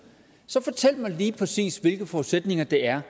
så fortæl mig lige præcis hvilke forudsætninger det er